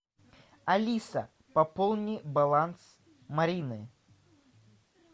алиса пополни баланс марины